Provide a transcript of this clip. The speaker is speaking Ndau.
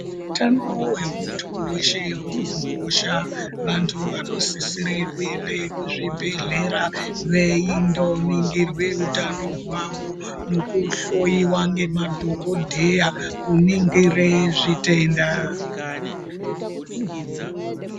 Utano wemuntu weshe unokosha vantu vanosisire kuende kuzvibhedhlera veindoningirwe utano hwavo nekuhloyiwa ngema dhokodheya kuningire zvitenda.